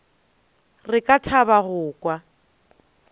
re ka thaba go kwa